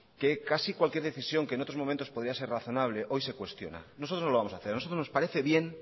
que casi cualquier decisión que en otros momentos podría ser razonable hoy se cuestiona nosotros lo vamos a hacer a nosotros nos parece bien